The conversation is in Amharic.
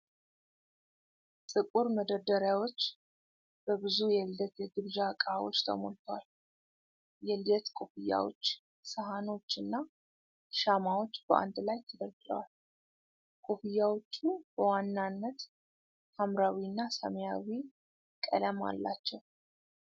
ጥቁር መደርደሪያዎች በብዙ የልደት የግብዣ እቃዎች ተሞልተዋል፡፡ የልደት ኮፍያዎች፣ ሳህኖችና ሻማዎች በአንድ ላይ ተደርድረዋል፡፡ ኮፍያዎቹ በዋናነት ሐምራዊና ሰማያዊ ቀለም አላቸው፡፡